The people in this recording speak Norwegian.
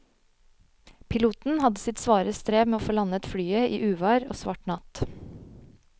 Piloten hadde sitt svare strev med å få landet flyet i uvær og svart natt.